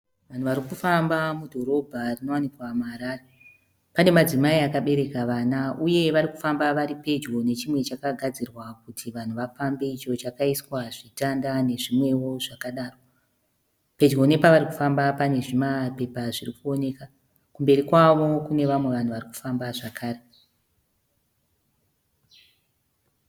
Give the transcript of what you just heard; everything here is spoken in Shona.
Vanhu varikufamba mudhorobha rinowanikwa muHarare. Pane madzimai akabereka vana, uye varikufamba varipedyo nechimwe chakagadzirwa kuti vanhu vafambe icho chakaiswa zvitanda nezvimwewo zvadaro. Pedyo nepavarikufamba pane zvimapepa zvirikuoneka. Kumberi kwavo kune vamwe vanhu varikufamba zvakare .